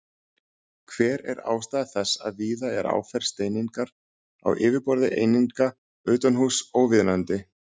Hver er ástæða þess að víða er áferð steiningar á yfirborði eininga utanhúss óviðunandi?